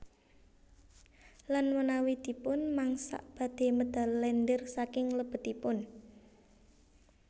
Lan menawi dipun mangsak badhe medal lendir saking lebetipun